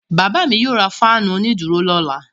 Bàbá mi yóò ra fáánù onídùúró lọ́la.